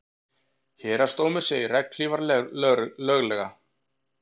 Héraðsdómur segir regnhlífar löglegar